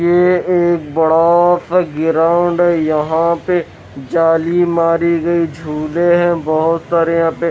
ये एक बड़ा सा गीराउंड है यहां पे जाली मारी गई झूले है बहुत सारे यहां पे।